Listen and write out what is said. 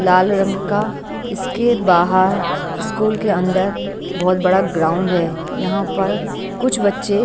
लाल रंग का इसके बाहर स्कूल के अंदर बहोत बड़ा ग्राउंड है यहां पर कुछ बच्चे--